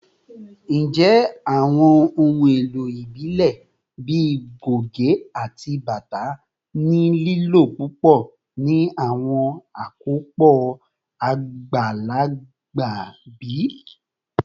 Njẹ awọn ohun elo ibile bii goge ati bata ni lilo pupọ ni awọn akopọ agbalagba bi?